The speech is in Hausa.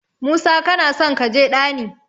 Musa kanason kaje ɗani.